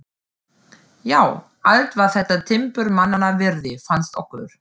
Já, allt var þetta timburmannanna virði, fannst okkur.